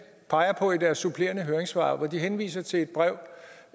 peger på i deres supplerende høringssvar hvor de henviser til et brev